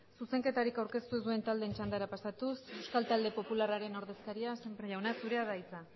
zuzenketarik aurkeztu ez duten taldeen txandara pasatuz euskal talde popularraren ordezkaria sémper jauna zurea da hitza